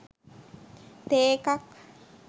තේ එකක්